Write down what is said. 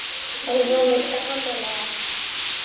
Hann hafði gaman af.